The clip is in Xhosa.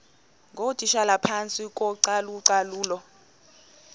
ngootitshala phantsi kocalucalulo